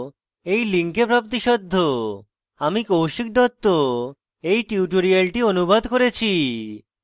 আমি কৌশিক দত্ত এই টিউটোরিয়ালটি অনুবাদ করেছি